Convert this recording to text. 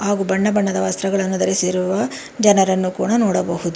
ಹಾಗು ಬಣ್ಣ ಬಣ್ಣದ ವಸ್ತ್ರಗಳನ್ನು ಧರಿಸಿರುವ ಜನರನ್ನು ಕೂಡ ನೋಡಬಹುದು.